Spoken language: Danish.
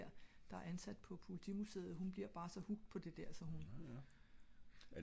men hende der der er ansat på politimusseet hun blir bar så hooket på det der